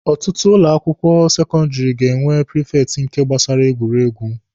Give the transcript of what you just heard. Ọtụtụ ụlọ akwụkwọ sekọndịrị ga-enwe prifekti n'ihe gbasara egwuregwu.